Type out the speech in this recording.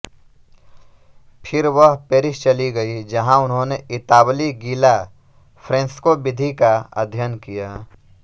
फिर वह पेरिस चली गई जहां उन्होंने इतालवी गीला फ़्रेस्को विधि का अध्ययन किया